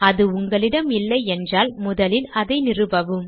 அது உங்களிடம் இல்லையென்றால் முதலில் அதை நிறுவவும்